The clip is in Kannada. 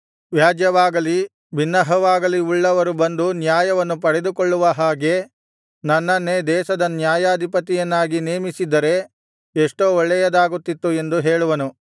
ವ್ಯಾಜ್ಯವಾಗಲಿ ಬಿನ್ನಹವಾಗಲಿ ಉಳ್ಳವರು ಬಂದು ನ್ಯಾಯವನ್ನು ಪಡೆದುಕೊಳ್ಳುವ ಹಾಗೆ ನನ್ನನ್ನೇ ದೇಶದ ನ್ಯಾಯಾಧಿಪತಿಯನ್ನಾಗಿ ನೇಮಿಸಿದ್ದರೆ ಎಷ್ಟೋ ಒಳ್ಳೆಯದಾಗುತ್ತಿತ್ತು ಎಂದು ಹೇಳುವನು